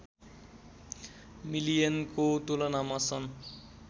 मिलियनको तुलनामा सन्